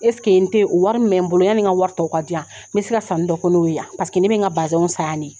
in tɛ o wari min bɛ n bolo yani ka wari tɔw ka diya, me se ka sanni dɔw kɛ n'o ye yan, paseke ne bɛ ka basɛnw san ya de.